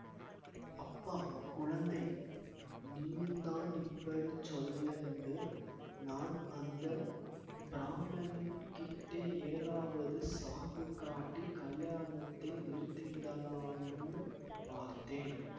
அப்பா குழந்தை நீயுந்தான் இப்படி சொல்ல்ன்டு நான் அந்த பிராமணன் கிட்டே ஏதாவது சாக்குக் காட்டிக் கல்யாணத்தை நிறுத்திவிடலாம்னு பார்த்தேன்